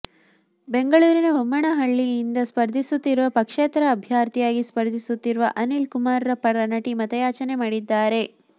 ಬೆಂಗಳೂರಿನ ಬೊಮ್ಮನಹಲ್ಳಿಯಿಂದ ಸ್ಪರ್ಧಿಸುತ್ತಿರುವ ಪಕ್ಷೇತರ ಅಭ್ಯರ್ಥಿಯಾಗಿ ಸ್ಪರ್ಧಿಸುತ್ತಿರುವ ಅನಿಲ್ ಕುಮಾರ್ ಪರ ನಟಿ ಮತಯಾಚನೆ ಮಾಡಿದ್ದಾರೆ